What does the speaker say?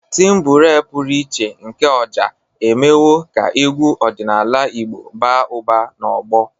Timbure pụrụ iche nke Oja emewo ka egwu ọdịnala Igbo baa ụba n'ọgbọ.